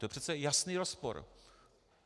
To je přece jasný rozpor.